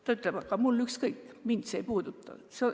Ta ütleb, et tal on ükskõik, teda see ei puuduta.